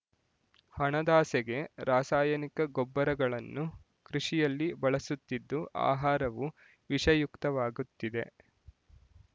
ಹಣದಾಸೆಗೆ ರಾಸಾಯನಿಕ ಗೊಬ್ಬರಗಳನ್ನು ಕೃಷಿಯಲ್ಲಿ ಬಳಸುತ್ತಿದ್ದು ಆಹಾರವೂ ವಿಷಯುಕ್ತವಾಗುತ್ತಿದೆ